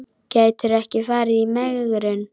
Gætirðu ekki farið í megrun?